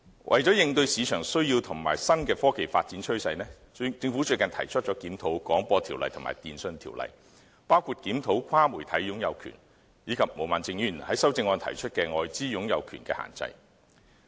為應對市場需要及新的科技發展趨勢，政府最近提出檢討《廣播條例》及《電訊條例》，包括檢討跨媒體擁有權，以及毛孟靜議員在修正案提出的外資擁有權的限制。